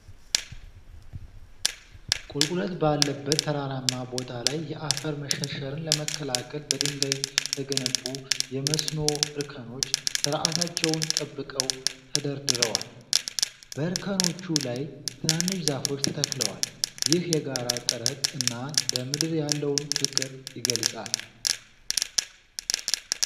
ቁልቁለት ባለበት ተራራማ ቦታ ላይ የአፈር መሸርሸርን ለመከላከል በድንጋይ የተገነቡ የመስኖ እርከኖች ስርዓታቸውን ጠብቀው ተደርድረዋል ። በእርከኖቹ ላይ ትናንሽ ዛፎች ተተክለዋል። ይህ የጋራ ጥረት እና ለምድር ያለውን ፍቅር ይገልጻል።